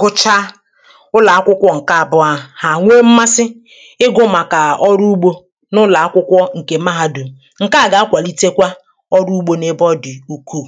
gụcha ụlọ̀ akwụkwọ ǹke àbụọ hà hà nwo mmasị ịgụ̇ màkà ọrụ ugbȯ n’ụlọ̀ akwụkwọ ǹkè maha dù ǹ